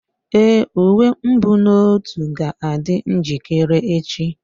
Èé, uwe mbunotu ga-adị njikere echi.